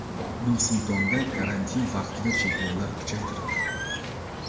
Nur-Sultonda karantin vaqtida cheklovlar kuchaytirildi.